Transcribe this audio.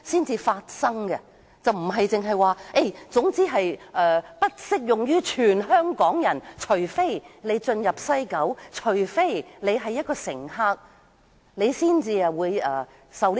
政府不能只說總之《條例草案》並非適用於全香港人，只有進入西九龍站的乘客才受管制。